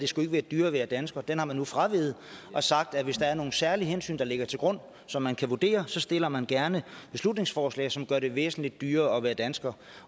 skulle være dyrere at være dansker den har man nu fraveget og sagt at hvis der er nogle særlige hensyn der ligger til grund som man kan vurdere stiller man gerne beslutningsforslag som gør det væsentlig dyrere at være dansker